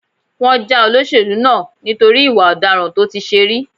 Wọ́n já olóṣèlú náà nítorí ìwà ọ̀daràn tó ti ṣe rí.